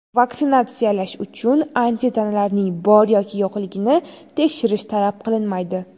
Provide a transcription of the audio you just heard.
Vaksinatsiyalash uchun antitanalarning bor yoki yo‘qligini tekshirish talab qilinmaydi.